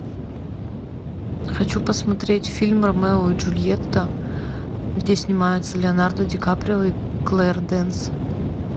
хочу посмотреть фильм ромео и джульетта где снимается леонардо ди каприо и клэр дэйнс